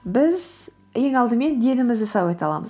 біз ең алдымен денімізді сау ете аламыз